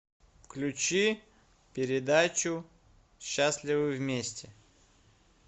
включи передачу счастливы вместе